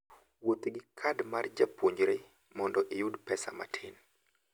Wuoth gi kad mar japuonjre mondo iyud pesa matin.